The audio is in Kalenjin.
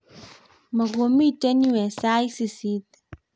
mukumito yue eng' sait sisit